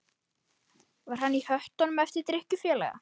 Var hann á höttunum eftir drykkjufélaga?